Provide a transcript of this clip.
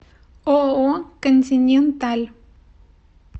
ооо континенталь